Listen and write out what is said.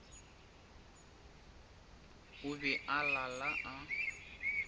o be a lala a